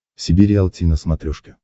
себе риалти на смотрешке